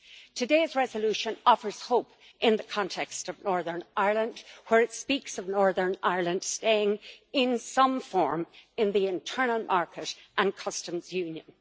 Today's resolution offers hope in the context of Northern Ireland, where it speaks of Northern Ireland staying in some form in the internal market and Customs Union.